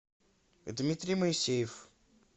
дмитрий моисеев